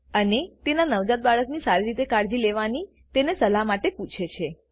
અને તેના નવજાત બાળકની સારી રીતે કાળજી લેવાની તેની સલાહ માટે પૂછે છે